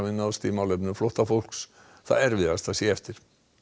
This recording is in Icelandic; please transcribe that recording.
náðst í málefnum flóttafólks það erfiðasta sé eftir